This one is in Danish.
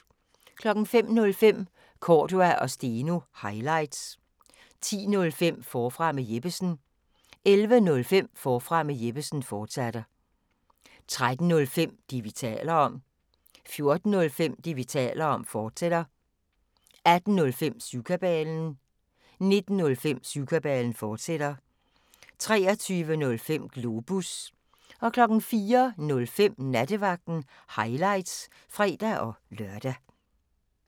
05:05: Cordua & Steno – highlights 10:05: Forfra med Jeppesen 11:05: Forfra med Jeppesen, fortsat 13:05: Det, vi taler om 14:05: Det, vi taler om, fortsat 18:05: Syvkabalen 19:05: Syvkabalen, fortsat 23:05: Globus 04:05: Nattevagten – highlights (fre-lør)